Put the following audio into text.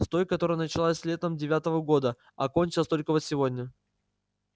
с той которая началась летом девятого года а кончилась только вот сегодня